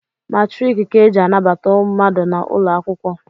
Matriki ka e ji anabata mmadụ n’ụlọ akwụkwọ